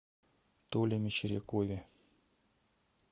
толе мещерякове